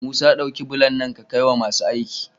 Musa dauki bulon nan ka kai wa masu aiki